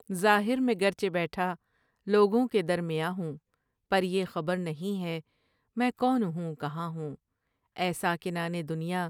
ظاہر میں گرچہ بیٹھا لوگوں کے درمیاں ہوں پر یہ خبر نہیں ہے میں کون ہوں کہاں ہوں اے ساکنان دنیا!